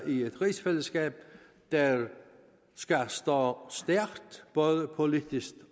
i et rigsfællesskab der skal stå stærkt både politisk